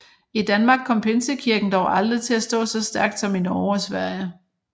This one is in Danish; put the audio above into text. I Danmark kom Pinsekirken dog aldrig til at stå så stærkt som i Norge og Sverige